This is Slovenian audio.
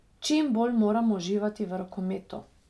Čimbolj moramo uživati v rokometu.